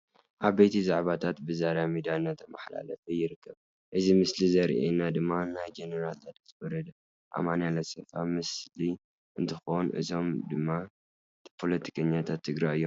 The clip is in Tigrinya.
ዓበይቲ ዛዕባታት ብዛህራ ሚድያ እንዳተማሓላለፈ ይርከብ ።እዚ ምስሊ ዘርእየና ድማ ናይ ጀነራል ታደሰ ወረደ፣ ኣማኒኤል ኣሰፋ ምስሊ እንትኮን እዚኦም ድማ ፖለቲከኛታት ትግግራይ እዮም።